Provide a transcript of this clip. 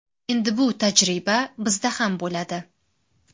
Endi bu tajriba bizda ham bo‘ladi.